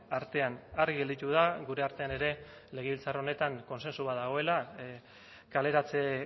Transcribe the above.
artean argi gelditu da gure artean ere legebiltzar honetan kontsensu bat dagoela kaleratze